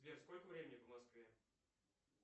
сбер сколько времени по москве